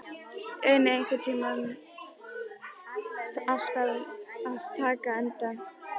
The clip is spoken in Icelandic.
Uni, einhvern tímann þarf allt að taka enda.